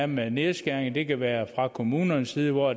med nedskæringer det kan være fra kommunernes side hvor